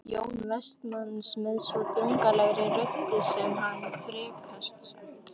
Jóns Vestmanns með svo drungalegri röddu sem hann frekast gat